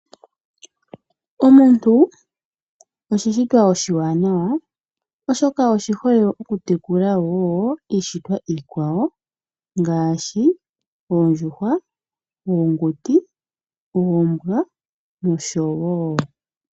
Omuntu osho oshishitwa oshiwanawa oshoka osho oshiholelwa okutekula iishitwa iikwawo ngaashi oondjuhwa, oonguti, oombwa nosho tuu.